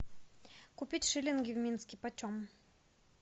купить шиллинги в минске почем